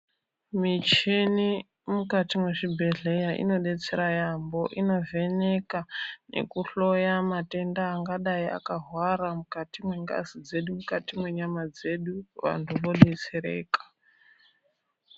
Michini mukati mwezvibhedhleya inobetsera yeyamho, inovheneka nekuhloya matenda angadai akahwara mukati mwengazi dzedu, mukati mwenyama dzedu vanhu vobetsereka.